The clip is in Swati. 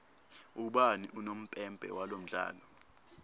ubani unompempe walomdlalo